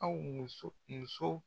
Aw muso musow